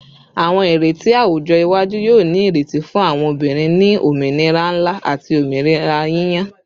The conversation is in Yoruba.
Awọn ireti awujọ iwaju yoo ni ireti fun awọn obinrin ni ominira nla ati ominira yiyan